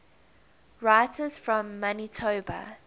writers from manitoba